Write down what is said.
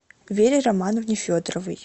вере романовне федоровой